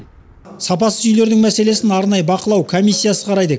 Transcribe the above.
сапасыз үйлердің мәселесін арнайы бақылау комиссиясы қарайды